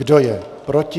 Kdo je proti?